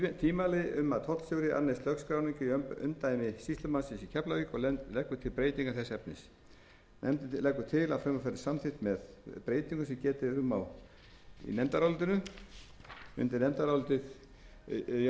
tvímæli um að tollstjóri annist lögskráningu í umdæmi sýslumannsins í keflavík og leggur til breytingu þess efnis nefndin leggur til að frumvarpið verði samþykkt með breytingu sem getið er um í nefndarálitinu háttvirtur